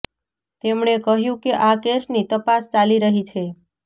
તેમણે કહ્યું કે આ કેસની તપાસ ચાલી રહી છે